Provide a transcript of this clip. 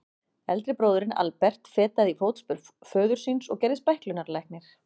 Eldri bróðirinn, Albert, fetaði í fótspor föður síns og gerðist bæklunarlæknir.